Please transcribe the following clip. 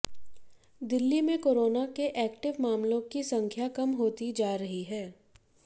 दिल्ली में कोरोना के एक्टिव मामलों की संख्या कम होती जा रही है